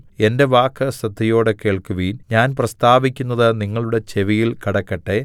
എന്റെ വാക്ക് ശ്രദ്ധയോടെ കേൾക്കുവിൻ ഞാൻ പ്രസ്താവിക്കുന്നത് നിങ്ങളുടെ ചെവിയിൽ കടക്കട്ടെ